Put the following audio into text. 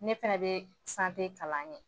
Ne fɛnɛ bɛ sante kalan kɛ.